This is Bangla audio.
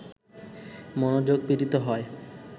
মনোযোগ পীড়িত হয়